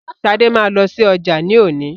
Sade ma lọsí ọjà ni òní.